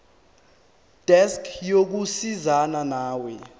desk yokusizana nawe